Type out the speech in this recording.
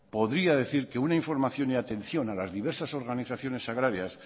podría decir que una información y atención a las diversas organizaciones agrarias